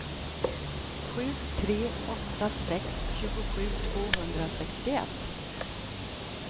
sju tre åtta sex tjugosju tvåhundrasextioett